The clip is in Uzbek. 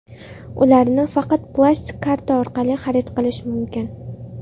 Ularni faqat plastik karta orqali xarid qilish mumkin.